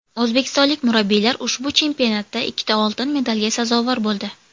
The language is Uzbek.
O‘zbekistonlik murabbiylar ushbu chempionatda ikkita oltin medalga sazovor bo‘ldi.